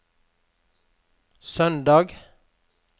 søndag